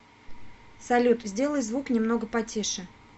салют сделай звук немного потише